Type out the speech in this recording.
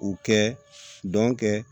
U kɛ dɔn kɛ